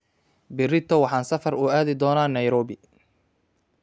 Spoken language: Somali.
Berrito waxaan safar uu aadi doonaa Nairobi